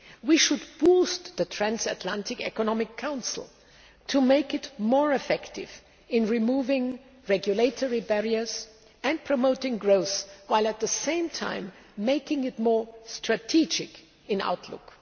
We should boost the Transatlantic Economic Council to make it more effective in removing regulatory barriers and promoting growth, while at the same time making it more strategic in outlook.